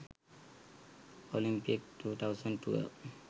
olympic 2012